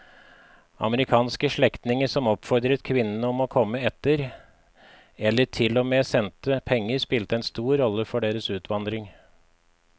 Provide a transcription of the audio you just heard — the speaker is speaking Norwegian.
Amerikanske slektninger som oppfordret kvinnene om å komme etter eller til og med sendte penger spilte en stor rolle for deres utvandring.